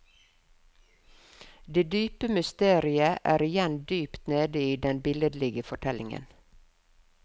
Det dype mysteriet er igjen dypt nede i den billedlige fortellingen.